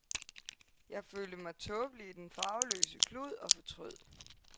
Jeg følte mig tåbelig i den farveløse klud og fortrød.